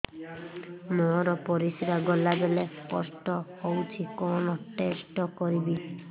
ମୋର ପରିସ୍ରା ଗଲାବେଳେ କଷ୍ଟ ହଉଚି କଣ ଟେଷ୍ଟ କରିବି